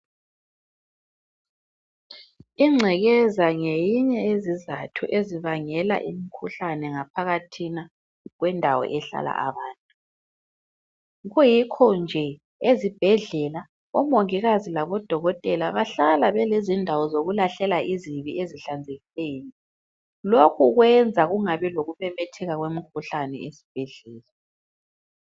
Ingcekeza ngeyinye yezizatho ezibangela umkhuhlane ngaphakathina kwendawo ehlala abantu. Yikho nje ezibhedlela omongikazi labo dokotela bahlala belezindawo zokulahlela izibi ezihlanzekileyo lokhu kwenza kungabi lokumemetheka komkhuhlane esibhedlela.